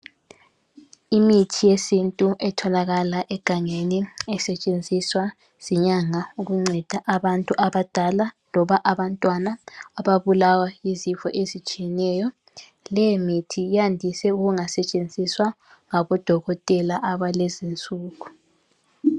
Imithi yesintu etholakala egangeni esetshenziswa zinyanga ukunceda abantu abadala loba abantwana ababulawa yizifo ezitshiyeneyo. Leyi mithi yandise ukungasetshenziswa ngabodokotela abalezinsuku